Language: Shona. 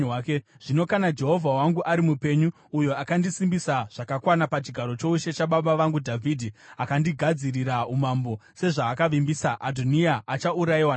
Zvino kana Jehovha wangu ari mupenyu, uyo akandisimbisa zvakakwana pachigaro choushe chababa vangu Dhavhidhi, akandigadzirira umambo sezvaakavimbisa, Adhoniya achaurayiwa nhasi.”